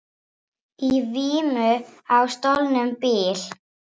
Boltinn er hjá honum en ég get ekki beðið endalaust við símann.